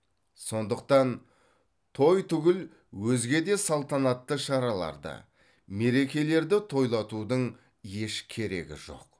сондықтан той түгіл өзге де салтанатты шараларды мерекелерді тойлатудың еш керегі жоқ